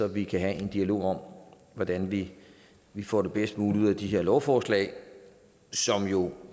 vi kan have en dialog om hvordan vi vi får det bedst mulige ud af de her lovforslag som jo